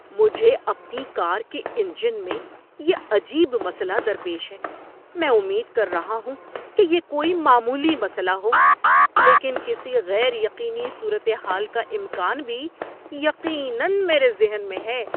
مجھے اپنی کار کے انجن میں یہ عجیب مسئلہ درپیش ہے۔ میں امید کر رہا ہوں کہ یہ کوئی معمولی مسئلہ ہو لیکن کسی غیر یقینی صورت حال کا امکان بھی یقیناً میرے ذہن میں ہے۔